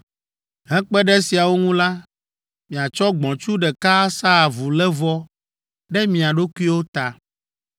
Hekpe ɖe esiawo ŋu la, miatsɔ gbɔ̃tsu ɖeka asa avulévɔ ɖe mia ɖokuiwo ta.